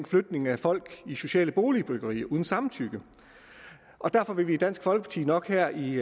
flytning af folk i sociale boligbyggerier uden deres samtykke derfor vil vi i dansk folkeparti nok her i